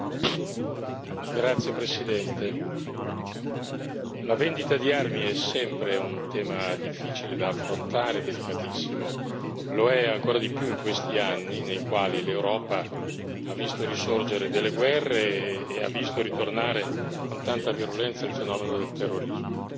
Signora Presidente, onorevoli colleghi, la vendita di armi è sempre un tema difficile da affrontare, delicatissimo, lo è ancora di più in questi anni nei quali l'Europa ha visto risorgere delle guerre e ha visto ritornare con tanta virulenza il fenomeno del terrorismo.